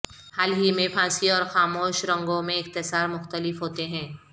حال ہی میں پھانسی اور خاموش رنگوں میں اختصار مختلف ہوتے ہیں